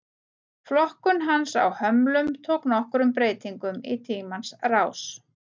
Flokkun hans á hömlum tók nokkrum breytingum í tímans rás.